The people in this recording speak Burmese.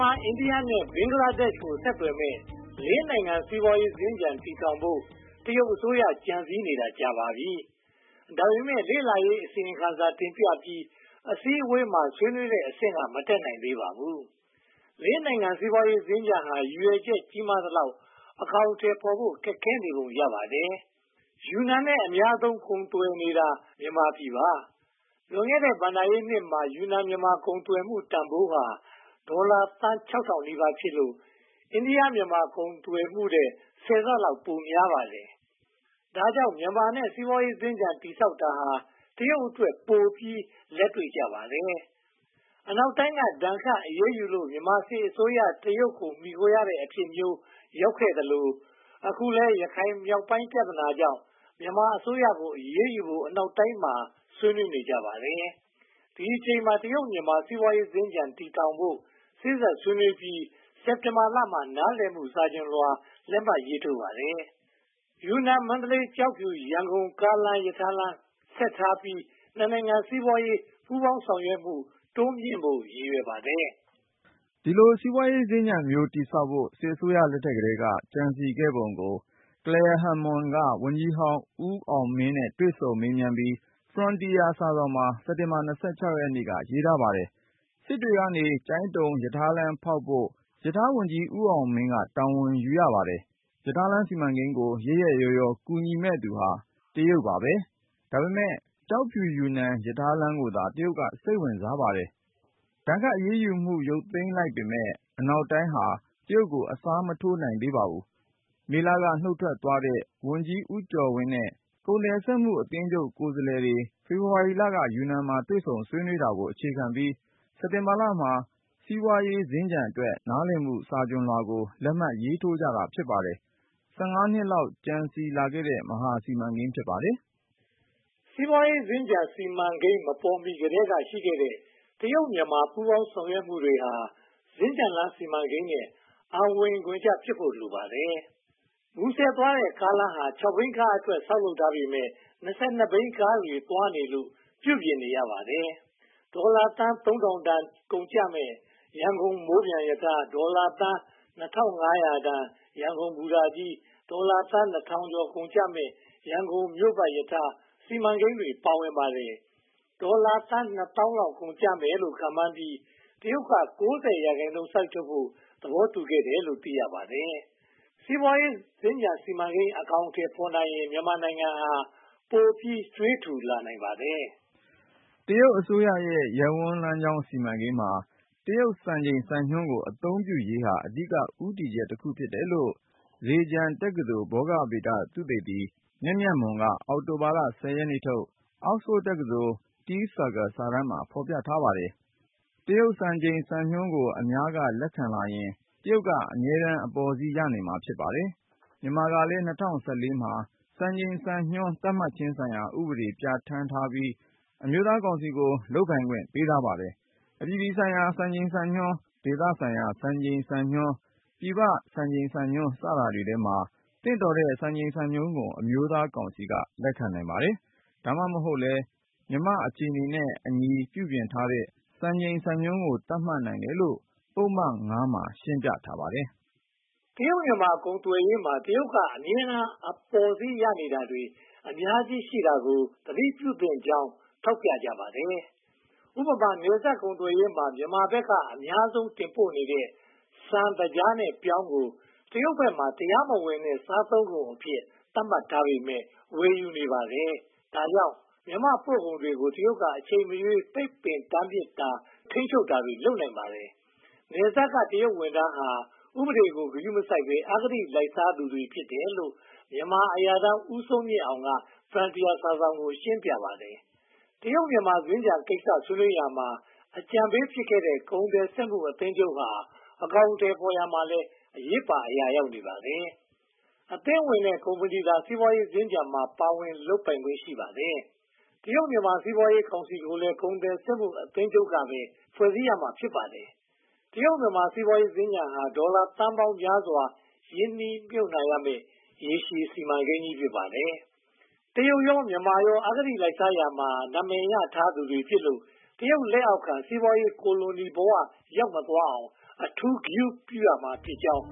မာ၊ အိန္ဒိယ နဲ့ ဘင်္ဂလားဒေ့ရှ်ကို ဆက်သွယ်မယ့် လေးနိုင်ငံ စီးပွားရေးစင်္ကြ ံ တည်ထောင်ဖို့ တရုတ်အစိုးရ ကြံစည်နေတာ ကြာခဲ့ပါပြီ။ ဒါပေမဲ့ လေ့လာရေး အစီရင်ခံစာ တင်ပြပြီး၊ အစည်းအဝေးမှာ ဆွေးနွေးတဲ့အဆင့်က မတက်နိုင်သေးပါဘူး။ လေးနိုင်ငံစီးပွားရေးစင်္ကြ ံဟာ ရည်ရွယ်ချက်ကြီးမားသလောက် အကောင်အထည်ဖော်ဖို့ ခက်ခဲနေပုံရပါတယ်။ ယူနန်နဲ့ အများဆုံးကုန်သွယ်နေတာ မြန်မာနိုင်ငံ ဖြစ်ပါတယ်။ လွန်ခဲ့တဲ့ ဘဏ္ဍာရေးနှစ်မှာ ယူနန်-မြန်မာ ကုန်သွယ်မှုတန်းဖိုးဟာ ဒေါ်လာသန်း (၆၀၀၀) နီးပါးဖြစ်လို့ အိန္ဒိယ-မြန်မာ ကုန်သွယ်ရေးထက် ဆယ်ဆလောက် ပိုများပါတယ်။ ဒါကြောင့် မြန်မာနဲ့ စီးပွားရေးစင်္ကြ ံတည်ဆောက်တာဟာ တရုတ်အတွက်ပိုပြီး လက်တွေ့ကျပါတယ်။ အနောက်တိုင်းက ဒဏ်ခတ်အရေးယူလို့ ဗမာစစ်အစိုးရက တရုတ်ကို မှီခိုခဲ့ရတဲ့ အဖြစ်မျိုး ရောက်ခဲ့သလို၊ အခုလည်း ရခိုင်မြောက်ပိုင်းပြဿနာကြောင့် မြန်မာအစိုးရကို အရေးယူဖို့ အနောက်တိုင်းမှာ ဆွေးနွေးနေကြပါတယ်။ ဒီအချိန်မှာ တရုတ်-မြန်မာ စီးပွားရေးစင်္ကြ ံ တည်ဆောက်ဖို့ စေ့စပ်ဆွေးနွေးပြီး စက်တင်ဘာမှာ နားလည်မှု စာချွန်လွှာ လက်မှတ်ထိုးပါတယ်။ ယူနန်၊ မန္တလေး၊ ကျောက်ဖြူ၊ ရန်ကုန်ကို ကားလမ်း၊ ရထားလမ်းနဲ့ဆက်ထားပြီး နှစ်နိုင်ငံ စီးပွားရေး ပူးပေါင်းဆောင်ရွက်မှု တိုးမြှင့်ဖို့ ရည်ရွယ်ထားပါတယ်။ ဒီလို စီးပွားရေးစင်္ကြ ံမျိုး တည်ဆောက်ဖို့ စစ်အစိုးရလက်ထက်ကတည်းက ကြံစည်ခဲ့ပုံကို Clare Hammond က ဝန်ကြီးဟောင်းဦးအောင်မင်းနဲ့ တွေ့ဆုံမေးမြန်းပြီး Frontier စာစောင်မှာ စက်တင်ဘာလ (၂၆)ရက်နေ့က ရေးထားပါတယ်။ စစ်တွေကနေ ကျိုင်းတုံရထားလမ်းဖောက်ဖို့ မီးရထားဝန်ကြီး ဦးအောင်မင်းက တာဝန်ယူခဲ့ရပါတယ်။ ရထားလမ်းစီမံကိန်းကို ရက်ရက်ရောရော ကူညီမယ့်သူဟာ တရုတ် ဖြစ်ပါတယ်။ ဒါပေမဲ့ ကျောက်ဖြူ-ယူနန် ရထားလမ်းကိုသာ တရုတ်က စိတ်ဝင်စားပါတယ်။ ဒဏ်ခတ်အရေးယူမှု ရုတ်သိမ်းလိုက်ပေမယ့် အနောက်တိုင်းဟာ တရုတ်ကို အစားမထိုးနိုင်ပါဘူး။ မေလက နုတ်ထွက်သွားခဲ့တဲ့ ဝန်ကြီးဦးကျော်ဝင်းနဲ့ ကုန်သည်စက်မှုအသင်းချုပ် ကိုယ်စားလှယ်တွေ ဖေဖေါ်ဝါရီလက ယူနန်မှာ တွေ့ဆုံဆွေးနွေးတာကို အခြေခံပြီးတော့ စက်တင်ဘာလမှာ စီးပွားရေးစင်္ကြ ံအတွက် နားလည်မှုစာချွန်လွှာကို လက်မှတ်ထိုးတာ ဖြစ်ပါတယ်။ (၁၅) နှစ်လောက် ကြံစည်လာခဲ့တဲ့ မဟာစီမံကိန်း ဖြစ်ပါတယ်။ စီးပွားရေးစင်္ကြ ံစီမံကိန်း မပေါ်မီကတည်းကရှိခဲ့တဲ့ တရုတ်-မြန်မာ ပူးပေါင်းဆောင်ရွက်မှုတွေကို စင်္ကြံလမ်းစီမံကိန်းနဲ့ အံဝင်ဂွင်ကျဖြစ်ဖို့ လိုပါတယ်။ မူဆယ်သွားတဲ့ ကားလမ်းဟာ (၆) ဘီးကားတွေအတွက် ဆောက်လုပ်ထားပေမယ့် (၂၂) ဘီးကားတွေ သွားနေလို့ ပြုပြင်နေရပါတယ်။ ဒေါ်လာသန်း (၃၀၀၀)ကုန်ကျမယ့် ရန်ကုန်မိုးပျံရထား၊ ဒေါ်လာသန်း (၂၅၀၀) တန် ရန်ကုန်ဘူတာကြီး၊ ဒေါ်လာသန်း (၂၀၀၀)ကျော် ကုန်ကျမယ့် ရန်ကုန်မြို့ပတ် မီးရထားလမ်း စီမံကိန်းတွေ ပါဝင်နေပါတယ်။ ဒေါ်လာသန်း (၂၀,၀၀၀) လောက် ကုန်ကျမယ်လို့ ခန့်မှန်းပြီး တရုတ်က (၉၀)ရာခိုင်နှုန်း စိုက်ထုတ်ဖို့ သဘောတူခဲ့တယ်လို့ သိရပါတယ်။ စီးပွားရေးစင်္ကြ ံ စီမံကိန်းအကောင်အထည်ဖော်ရင် မြန်မာနိုင်ငံဟာပိုပြီး ကြွေးထူလာနိုင်ပါတယ်။ တရုတ်အစိုးရရဲ့ ရပ်ဝန်းလမ်းကြောင်းစီမံကိန်းမှာ တရုတ် စံချိန်စံညွှန်းကို အသုံးပြုရေးဟာ အဓိက ဦးတည်ချက်တခု ဖြစ်တယ်လို့ ဇေဂျန်တက္ကသိုလ် ဘောဂဗေဒသုတေသီ မြတ်မြတ်မွန်က အောက်တိုဘာလ (၁၀)ရက်နေ့ထုတ် Oxford တက္ကသိုလ် Tea Circle စာတမ်းမှာ ရေးသားဖော်ပြ ထားပါတယ်။ တရုတ်စံချိန်စံညွှန်းကို အများကလက်ခံလာရင် တရုတ်က အမြဲတမ်း အပေါ်စီးရနေမှာ ဖြစ်ပါတယ်။ မြန်မာကလည်း ၂၀၁၄ မှာ "စံချိန်စံညွှန်း သတ်မှတ်ခြင်းဆိုင်ရာဥပဒေ" ပြဌာန်းပြီး အမျိုးသားကောင်စီကို လုပ်ပိုင်ခွင့်ပေးထားပါတယ်။ အပြည်ပြည်ဆိုင်ရာ စံချိန်စံညွှန်း၊ ဒေသဆိုင်ရာ စံချိန်စံညွှန်း၊ ပြည်ပစံချိန်စံညွှန်း စတာတွေထဲမှာ သင့်တော်တဲ့ စံချိန်စံညွှန်းကို အမျိုးသားကောင်စီက လက်ခံနိုင်ပါတယ်။ ဒါမှမဟုတ်လဲ မြန်မာ့အခြေအနေနဲ့အညီ ပြုပြင်ထားတဲ့ စံချိန်စံညွှန်းကို သတ်မှတ်နိုင်တယ်လို့ ပုဒ်မ (၅) မှာ ရှင်းပြထားပါတယ်။ တရုတ်-မြန်မာ ကုန်သွယ်ရေးမှာ တရုတ်က အမြဲတမ်း အပေါ်စီးရနေတာတွေ အများကြီးရှိနေတာကို သတိပြုသင့်ကြောင်း ထောက်ပြကြပါတယ်။ ဥပမာ နယ်စပ်ကုန်သွယ်ရေးမှာ မြန်မာဘက်က အများဆုံးတင်ပို့နေတဲ့ ဆန်၊ သကြားနဲ့ ပြောင်းတို့ကို တရုတ်ဘက်မှာ တရားမဝင်တဲ့ စားသုံးကုန်အဖြစ် သတ်မှတ်ထားပေမယ့် ဝယ်ယူနေကြပါတယ်။ ဒါကြောင့် မြန်မာပို့ကုန်တွေကို တရုတ်က အချိန်မရွေး ပိတ်ပင်တားမြစ်တာ၊ ထိန်းချုပ်တာတွေ လုပ်နိုင်ပါတယ်။ နယ်စပ်က တရုတ်ဝန်ထမ်းတွေဟာ ဥပဒေတွေကို ဂရုမစိုက်ဘဲ အဂတိလိုက်စားသူတွေ ဖြစ်တယ်လို့ မြန်မာအရာထမ်း ဦးစိုးမြင့်အောင်က Frontier စာစောင်ကို ရှင်းပြခဲ့ပါတယ်။ တရုတ်-မြန်မာ စီးပွားရေးစင်္ကြ ံကိစ္စ ဆွေးနွေးရာမှာ အကြံပေးဖြစ်ခဲ့တဲ့ ကုန်သွယ်စက်မှုအသင်းချုပ်ဟာ အကောင်အထည်ဖော်ရာမှာလည်း အရေးပါ အရာရောက်နေပါတယ်။ အသင်းဝင်တဲ့ကုမ္ပဏီသာ စီးပွားရေးစင်္ကြ ံမှာ ပါဝင်လုပ်ကိုင်ခွင့် ရှိပါတယ်။ တရုတ်-မြန်မာ စီးပွားရေးကောင်စီကိုလည်း ကုန်သည်စက်မှုအသင်းချုပ်ကပဲ ဖွဲ့စည်းရမှာ ဖြစ်ပါတယ်။ တရုတ်-မြန်မာ စီးပွားရေးစင်္ကြ ံဟာ ဒေါ်လာသန်းပေါင်းများစွာ ရင်းနှီးမြုပ်နံှရမယ့် ရေရှည်စီမံကိန်းကြီး ဖြစ်ပါတယ်။ ဒါပေမဲ့ တရုတ်ရော၊ မြန်မာရော အဂတိလိုက်စားရာမှာ နာမည်ရထားသူတွေဖြစ်လို့ တဖြည်းဖြည်းနဲ့ တရုတ်ကိုလိုနီဘဝကို ရောက်မသွားအောင် အထူးဂရုပြုရမှာဖြစ်ကြောင်း